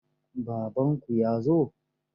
Baffanku ya zo?